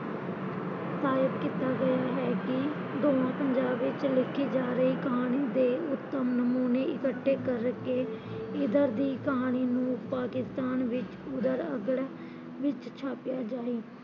ਸਾਹਿਤ ਕੀਤਾ ਗਿਆ ਹੈ ਕੀ ਦੋਹਾਂ ਪੰਜਾਬ ਵਿਚ ਲਿਖੀ ਜਾ ਰਹੀ ਕਹਾਣੀ ਦੇ ਉੱਦਮ ਨਮੂਨੇ ਇਕੱਠੇ ਕਰ ਕੇ ਇਦਰ ਦੀ ਕਹਾਣੀ ਨੁ ਪਾਕਿਸਤਾਨ ਵਿੱਚ ਉਦਰ ਅੱਗੜ ਵਿੱਚ ਛਾਪਿਆ ਜਾਏ